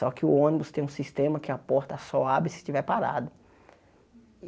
Só que o ônibus tem um sistema que a porta só abre se estiver parado.